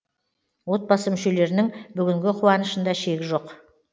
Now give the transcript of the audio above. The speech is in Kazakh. отбасы мүшелерінің бүгінгі қуанышында шек жоқ